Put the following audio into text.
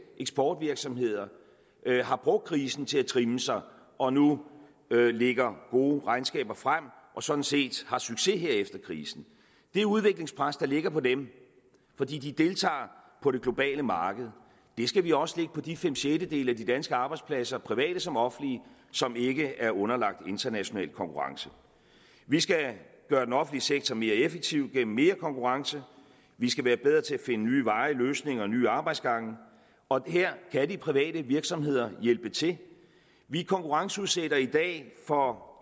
eksportvirksomheder har brugt krisen til at trimme sig og nu lægger gode regnskaber frem og sådan set har succes her efter krisen det udviklingspres der ligger på dem fordi de deltager på det globale marked skal vi også lægge på de fem sjettedele af de danske arbejdspladser private som offentlige som ikke er underlagt international konkurrence vi skal gøre den offentlige sektor mere effektiv gennem mere konkurrence vi skal være bedre til at finde nye veje løsninger og nye arbejdsgange og her kan de private virksomheder hjælpe til vi konkurrenceudsætter i dag for